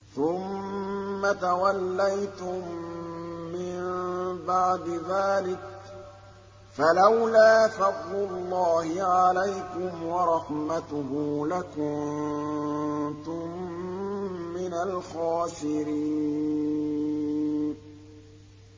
ثُمَّ تَوَلَّيْتُم مِّن بَعْدِ ذَٰلِكَ ۖ فَلَوْلَا فَضْلُ اللَّهِ عَلَيْكُمْ وَرَحْمَتُهُ لَكُنتُم مِّنَ الْخَاسِرِينَ